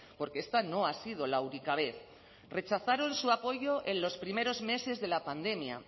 porque esta no ha sido la única vez rechazaron su apoyo en los primeros meses de la pandemia